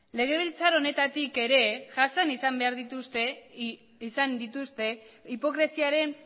legebiltzar honetatik ere jasan izan dituzte hipokresiaren